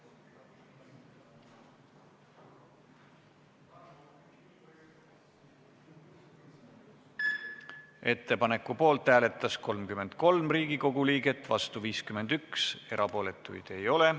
Hääletustulemused Ettepaneku poolt hääletas 33 Riigikogu liiget, vastu 51, erapooletuid ei ole.